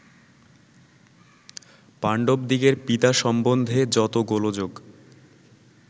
পাণ্ডবদিগের পিতা সম্বন্ধে যত গোলযোগ